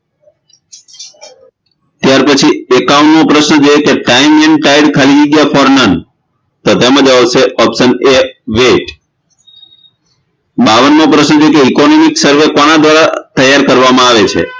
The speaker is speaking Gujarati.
ત્યારપછી એકાવનમો પ્રશ્ન time and tide ખાલી જગ્યા for me તો તેમાં જવાબ આવે છે option A wait બાવનમો પ્રશ્ન જે છે economy sarve કોના દ્વારા તૈયાર કરવામાં આવે છે